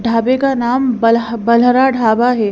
ढाबे का नाम बल्ह बल्हारा ढाबा है।